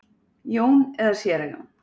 Jón eða Séra Jón.